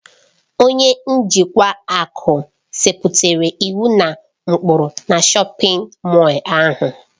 Onye njikwa ahụ setịpụrụ iwu na ụkpụrụ na shọpin Mọll ahụ.